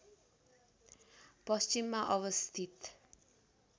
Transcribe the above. पश्चिममा अवस्थित